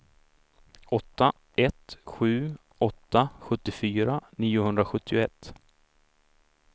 åtta ett sju åtta sjuttiofyra niohundrasjuttioett